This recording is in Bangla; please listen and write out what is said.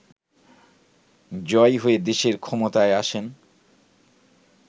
জয়ী হয়ে দেশের ক্ষমতায় আসেন